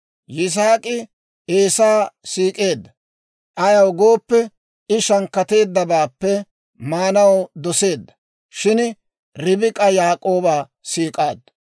Yisaak'i Eesaa siik'eedda; ayaw gooppe, I shankkateeddabaappe maanaw doseedda; shin Ribik'a Yaak'ooba siik'aaddu.